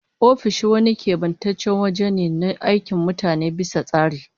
Ofishi wani kebantaccen waje ne na aikin mutane bisa tsari